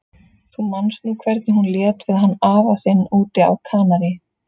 Þú manst nú hvernig hún lét við hann afa þinn úti á Kanarí.